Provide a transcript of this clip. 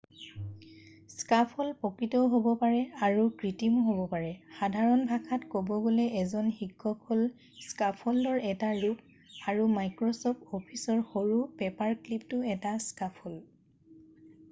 scaffold প্ৰকৃতও হ'ব পাৰে আৰু কৃত্ৰিমও হ'ব পাৰে সাধাৰণ ভাষাত কব গ'লে এজন শিক্ষক হ'ল স্কাফল্ডৰ এটা ৰূপ আৰু মাইক্ৰচফ্ট অফিচৰ সৰু পেপাৰক্লিপটোও এটা স্কাফল্ড